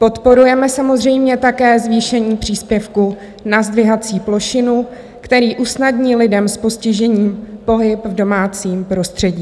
Podporujeme samozřejmě také zvýšení příspěvku na zdvihací plošinu, který usnadní lidem s postižením pohyb v domácím prostředí.